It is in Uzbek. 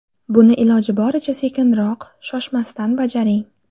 Buni iloji boricha sekinroq, shoshmasdan bajaring.